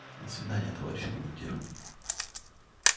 до свидания товарищ командир